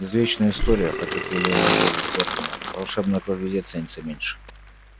извечная история потёк елейный голос горбина волшебная кровь везде ценится меньше